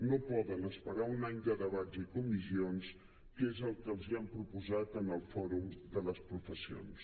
no poden esperar un any de debats i comissions que és el que els han proposat en el fòrum de les professions